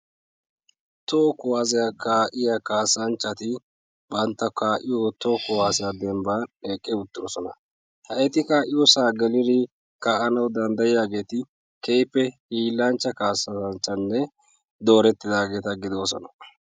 Toho kuwassiya kaa'iyaa kassanchcati bantta kaa'iyo kuwassiya dembban eqqi uttidoosona. ha eti de'iyo sohuwaa gelanaw danddayiyaageeti keehippe hiilanchcha kaassanchchatanne dooretidageeta gidoosona.